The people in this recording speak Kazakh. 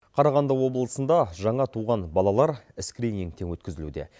қарағанды облысында жаңа туған балалар скринингтен өткізілуде